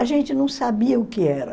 A gente não sabia o que era.